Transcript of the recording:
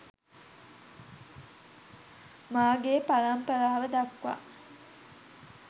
මාගේ පරම්පරාව දක්වා